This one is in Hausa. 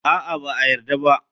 A'a, ba a yarda ba.